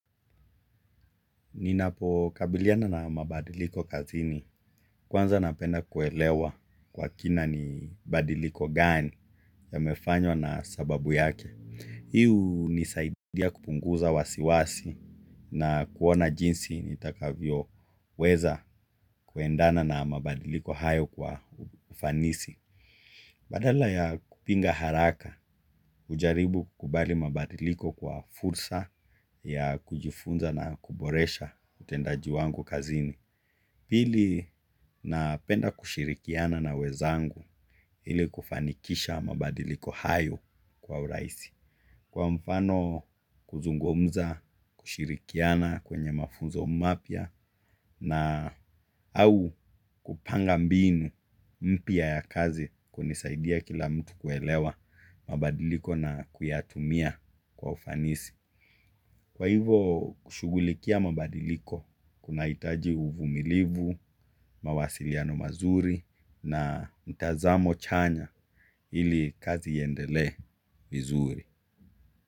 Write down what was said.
Ninapokabiliana na mabadiliko kazini, kwanza napenda kuelewa kwa kina ni mabadiliko gani yamefanywa na sababu yake. Hii unisaidia kupunguza wasiwasi na kuona jinsi nitakavyoweza kuendana na mabadiliko hayo kwa ufanisi. Badala ya kupinga haraka hujaribu kukubali mabadiliko kwa fursa ya kujifunza na kuboresha utendaji wangu kazini. Pili napenda kushirikiana na wenzangu ili kufanikisha mabadiliko hayo kwa urahisi. Kwa mfano kuzungumza, kushirikiana kwenye mafunzo mapya na au kupanga mbinu mpya ya kazi kunisaidia kila mtu kuelewa mabadiliko na kuyatumia kwa ufanisi. Kwa hivo kushugulikia mabadiliko, kunahitaji uvumilivu, mawasiliano mazuri na mtazamo chanya ili kazi iendele vizuri.